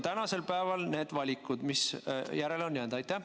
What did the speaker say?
Millised on need valikud, mis nüüd järele on jäänud?